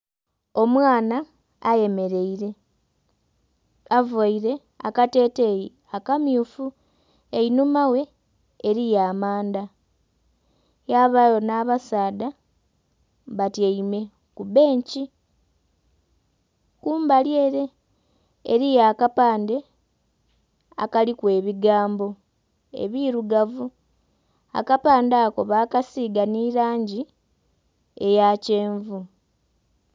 Omwana ayemeleire, availe akateteeyi akamyufu. Einhuma ghe eliyo amanda yabayo nh'abasaadha batyaime ku benkyi. Kumbali ele eliyo akapande akaliku ebigambo ebirugavu. Akapande ako bakasiiga nhi langi eya kyenvu.